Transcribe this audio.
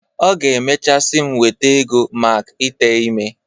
Ọ ga-emechaa sị m weta ego mak ite ime.